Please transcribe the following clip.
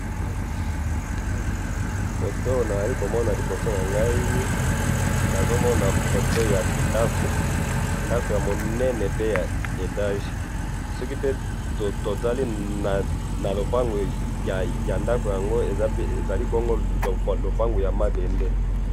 photo oyo nazayi komona liboso na ngayi ,nazo mona photo ya ndaku, ndaku ya munene pe ya etage soki pe totali na lopangu ya ndako yango ezali bongo lopango ya mabende.